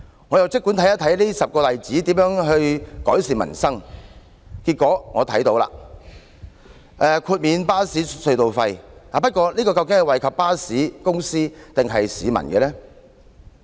我姑且看看這10個例子如何改善民生，結果我看到了：豁免巴士隧道收費，不過這項政策究竟是惠及巴士公司，抑或惠及市民呢？